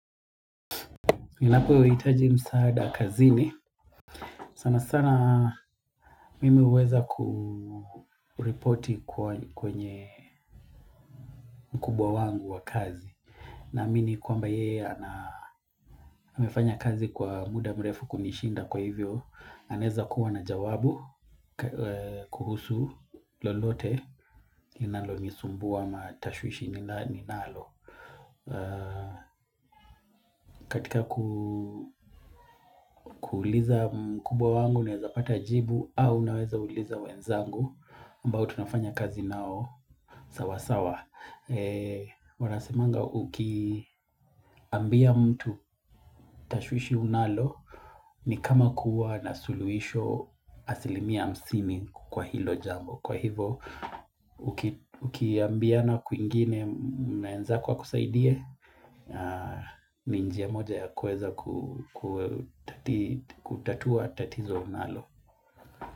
Ninapohitaji msaada kazini. Sanasana mimi huweza kuripoti kwenye mkubwa wangu wa kazi. Naamini kwamba yeye amefanya kazi kwa muda mrefu kunishinda kwa hivyo. Anaeza kuwa na jawabu kuhusu lolote linalonisumbua ama tashwishi ninalo. Katika kuuliza mkubwa wangu naeza pata jibu au naweza uliza wenzangu ambao tunafanya kazi nao sawa sawa. Wanasemanga ukiambia mtu tashwishi unalo ni kama kuwa na suluhisho asili mia hamsini kwa hilo jambo. Kwa hivo, ukiambiana kwingine mwenzako akusaidie ni njia moja ya kuweza kutatua tatizo nalo.